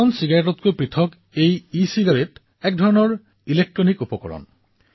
সাধাৰণ চিগাৰেটতকৈ ভিন্ন ইচিগাৰেট হল এক প্ৰকাৰৰ বৈদ্যুতিক উপকৰণ